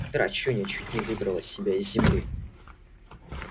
драчунья чуть не выдрала себя из земли